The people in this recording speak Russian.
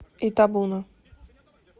итабуна